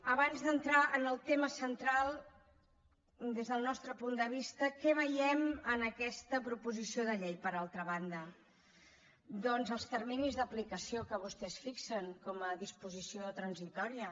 abans d’entrar en el tema central des del nostre punt de vista què veiem en aquesta proposició de llei per altra banda doncs els terminis d’aplicació que vostès hi fixen com a disposició transitòria